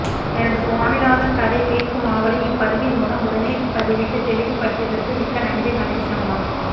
எனது ஸ்வாமிநாதன் கதை கேட்கும் ஆவலை இப்பதிவின் மூலம் உடனே பதிவிட்டு தெளிவு படுத்தியற்கு மிக்க நன்றி கணேஷ்ண்ணா